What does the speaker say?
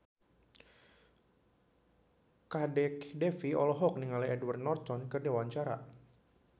Kadek Devi olohok ningali Edward Norton keur diwawancara